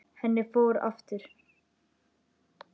Henni fór aftur.